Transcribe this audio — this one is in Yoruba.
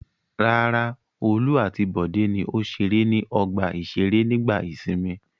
Rárá, Olú àti Bọ̀dé ni ó ṣeré ní ọgbà-ìṣeré nígbà ìsìnmi.